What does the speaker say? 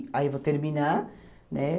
Aí vou terminar, né?